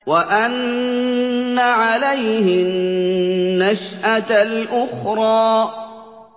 وَأَنَّ عَلَيْهِ النَّشْأَةَ الْأُخْرَىٰ